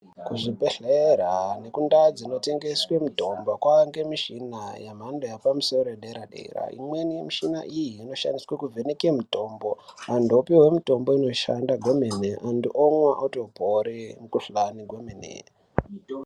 Kuzvibhedhlera nekundau dzinotengeswe mitombo, kwave ngemichhina yemhando yepamusoro yedera-dera. Imweni yemishina iyi inoshandiswe kuvheneke mitombo, vanthu vopuwe mitombo inoshanda kwemene, vanthu vomwa votopore mukhuhlani kwemene.